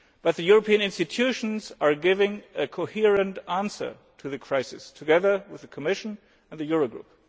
But the European institutions are giving a coherent answer to the crisis, together with the Commission and the Eurogroup.